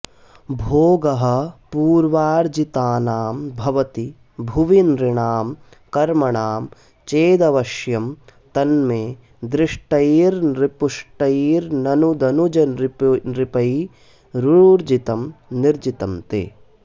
भोगः पूर्वार्जितानां भवति भुवि नृणां कर्मणां चेदवश्यं तन्मे दृष्टैर्नृपुष्टैर्ननु दनुजनृपैरूर्जितं निर्जितं ते